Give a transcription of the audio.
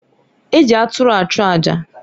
E ji aturu achụ aja.